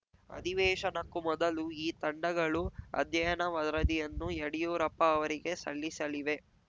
ಅಧಿವೇಶನಕ್ಕೂ ಮೊದಲು ಈ ತಂಡಗಳು ಅಧ್ಯಯನ ವರದಿಯನ್ನು ಯಡ್ಯೂರಪ್ಪ ಅವರಿಗೆ ಸಲ್ಲಿಸಲಿವೆ